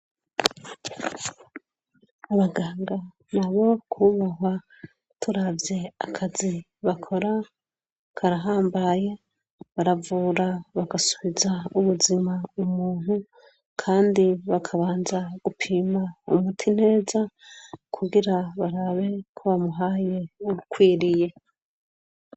Abaganga na bo kubahwa turavye akazi bakora karahambaye baravura bagasubiza ubuzima umuntu kandi bakabanza gupima umuti neza kugira barabe ko bamuhaye uwukwiriye.